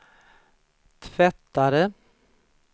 tvättare